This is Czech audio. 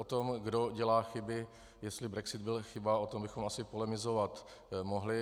O tom, kdo dělá chyby, jestli brexit byla chyba, o tom bychom asi polemizovat mohli.